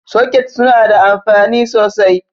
Sokets suna da anfani sosai.